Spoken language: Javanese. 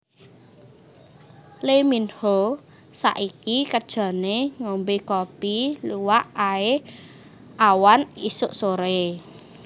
Lee Min ho saiki kerjone ngombe kopi luwak ae awan isuk sore